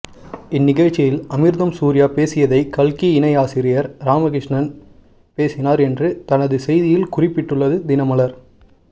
இந்நிகழ்ச்சியில் அமிர்தம் சூர்யா பேசியதை கல்கி இணை ஆசிரியர் ராமகிருஷ்ணன் பேசினார் என்று தனது செய்தியில் குறிப்பிட்டுள்ளது தினமலர்